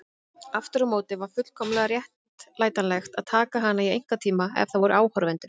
Aftur á móti var fullkomlega réttlætanlegt að taka hana í einkatíma ef það voru áhorfendur.